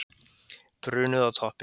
Brunuðu á toppinn